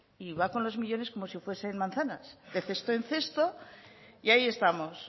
y va con los millónes como si fuesen manzanas de cesto en cesto y ahí estamos